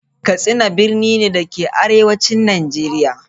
Katsina birni ne, da ke arewacin Najeriya.